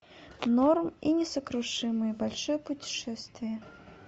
норм и несокрушимые большое путешествие